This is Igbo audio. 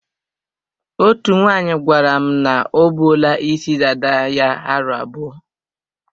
Otú nwaanyị gwara m na o buola isi dada ya aro abụọ.